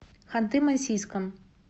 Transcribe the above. ханты мансийском